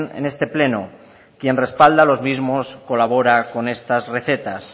en este pleno quien respalda los mismos colabora con estas recetas